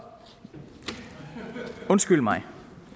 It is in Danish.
det undskyld mig